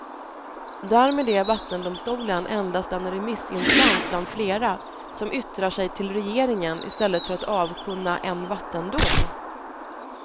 Därmed är vattendomstolen endast en remissinstans bland flera som yttrar sig till regeringen i stället för att avkunna en vattendom.